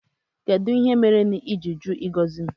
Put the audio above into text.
kedụ ihe mere bú n'iji jụ ịgozi m?